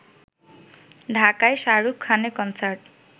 ঢাকায় শাহরুখ খানের কনসার্ট